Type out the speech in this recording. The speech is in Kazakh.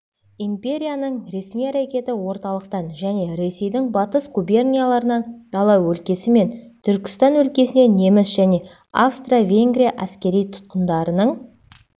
империяның ресми әрекеті орталықтан және ресейдің батыс губернияларынан дала өлкесі мен түркістан өлкесіне неміс және австро-венгрия әскери тұтқындарының